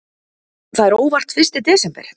Það er óvart fyrsti desember.